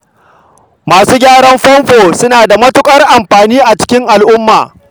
Masu gyaran famfo suna da matuƙar amfani a cikin al'umma.